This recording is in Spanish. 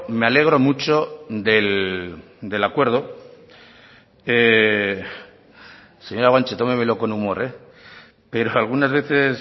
me alegro mucho del acuerdo señora guanche tómemelo con humor eh pero algunas veces